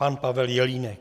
Pan Pavel Jelínek.